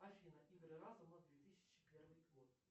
афина игры разума две тысячи первый год